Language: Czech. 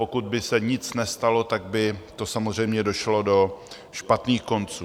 Pokud by se nic nestalo, tak by to samozřejmě došlo do špatných konců.